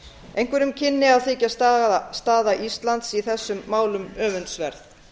einhverjum kynni að þykja staða íslands í þessum málum öfundsverð